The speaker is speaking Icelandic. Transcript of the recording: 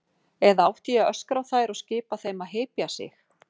Eða átti ég að öskra á þær og skipa þeim að hypja sig?